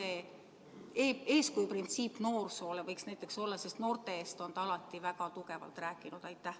Äkki see eeskuju printsiip noorsoole võiks näiteks olla, sest noorte eest on ta alati väga tugevalt rääkinud?